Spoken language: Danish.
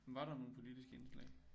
Var der nogle politiske indslag